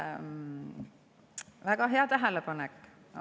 Väga hea tähelepanek!